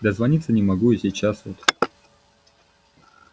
дозвониться не могу и сейчас вот